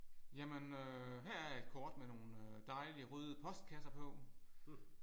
Jamen øh her er et kort med nogle dejlige røde postkasser på